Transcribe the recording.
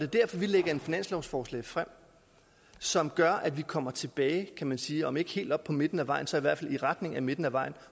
derfor vi lægger et finanslovsforslag frem som gør at vi kommer tilbage kan man sige om ikke helt op på midten af vejen så i hvert fald i retning af midten af vejen